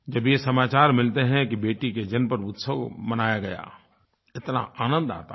जब ये समाचार मिलते हैं कि बेटी के जन्म पर उत्सव मनाया गया इतना आनंद आता है